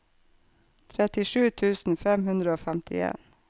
trettisju tusen fem hundre og femtien